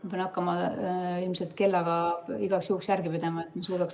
Ma pean hakkama ilmselt kellaga igaks juhuks järge pidama, et ma suudaks täpselt tuvastada.